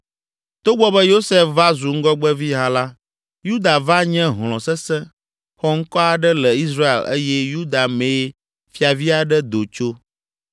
Togbɔ be Yosef va zu ŋgɔgbevi hã la, Yuda va nye hlɔ̃ sesẽ, xɔŋkɔ aɖe le Israel eye Yuda mee fiavi aɖe do tso.